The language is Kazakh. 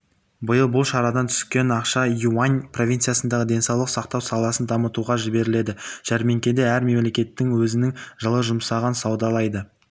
биыл бұл шарадан түскен ақша юнь-ань провинциясындағы денсаулық сақтау саласын дамытуға жіберіледі жәрмеңкеде әр мемлекет өзінің жылы жұмсағын саудалайды